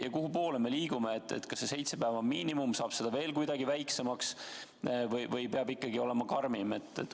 Ja kuhu poole me liigume: kas seitse päeva on miinimum või saab seda aega veel kuidagi vähendada või peab ikkagi karmim olema?